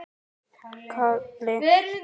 Hann fór ungur til sjós.